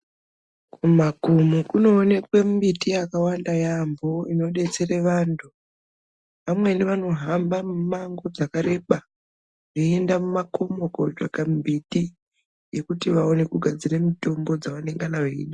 Kumakomo kunoonekwe mbiti yakawanda yaamho inodetsere vantu, vamweni vanohamba mimango dzakareba veienda mumakomo kotsvake mbiti yekuti vaone kugadzire mitombo dzevanengana veida.